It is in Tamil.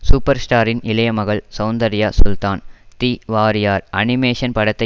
சூப்பர் ஸ்டாரின் இளையமகள் Soundarya Sultan the warrior animation படத்தை